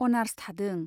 Honours थादों।